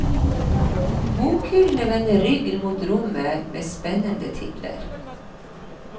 Bokhyllene vender ryggen mot rommet med spennende titler.